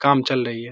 काम चल रही है।